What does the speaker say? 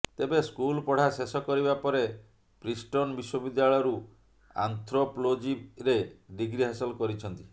ତେବେ ସ୍କୁଲ ପଢା ଶେଷ କରିବା ପରେ ପ୍ରିଷ୍ଟନ ବିଶ୍ୱବିଦ୍ୟାଳୟରୁ ଆନ୍ଥ୍ରୋପଲୋଜିରେ ଡିଗ୍ରୀ ହାସଲ କରିଛନ୍ତି